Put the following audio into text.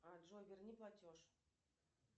а джой верни платеж